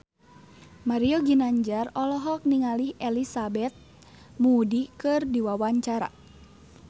Mario Ginanjar olohok ningali Elizabeth Moody keur diwawancara